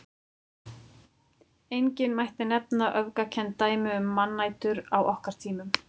Einnig mætti nefna öfgakennd dæmi um mannætur á okkar tímum.